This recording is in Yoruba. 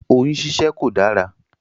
Oyún síṣẹ́ kò dárá.